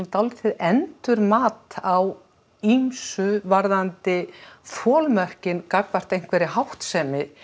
endurmat á ýmsu varðandi þolmörkin gagnvart einhverri háttsemi